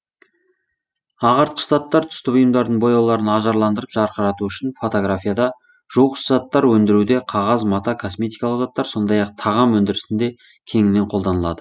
ағартқыш заттар түсті бұйымдардың бояуларын ажарландырып жарқырату үшін фотографияда жуғыш заттар өндіруде қағаз мата косметикалық заттар сондай ақ тағам өндірісінде кеңінен қолданылады